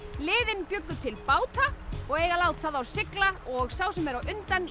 liðin bjuggu til báta og eiga að láta þá sigla og sá sem er á undan í